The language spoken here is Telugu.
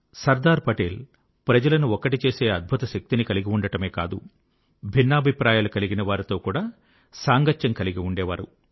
సర్దార్ పటేల్ ప్రజలను ఒక్కటి చేసే అద్భుత శక్తిని కలిగి ఉండడమే కాదు భిన్నాభిప్రాయాలు కలిగిన వారితో కూడా సాంగత్యం కలిగి ఉండేవారు